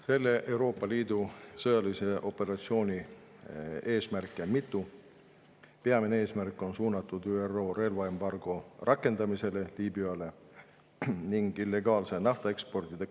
Selle Euroopa Liidu sõjalise operatsiooni eesmärke on mitu, aga peamine eesmärk on Liibüale kehtestatud ÜRO relvaembargo rakendamist ja tõkestada illegaalset naftaeksporti Liibüast.